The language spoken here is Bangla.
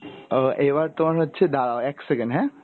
আহ এবার তোমার হচ্ছে দাড়াও এক second হ্যাঁ?